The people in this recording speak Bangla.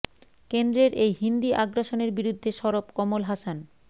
কেন্দ্রের এই হিন্দি আগ্রাসনের বিরুদ্ধে সরব কমল হাসান